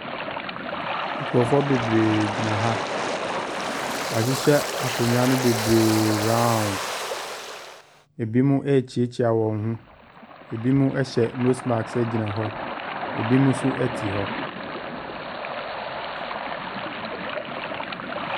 Nkurɔfoɔ bebree gyina ha. Wɔahyehyɛ akonnwa no bebreeee round. Ɛbinom rekyeakyea wɔn ho. Binom hyɛ nose mask gyina hɔ. Ɛbinom nso te hɔ.